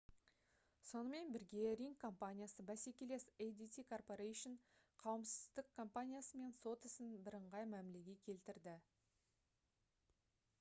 сонымен бірге ring компаниясы бәсекелес adt corporation қауіпсіздік компаниясымен сот ісін бііңғай мәмілеге келтірді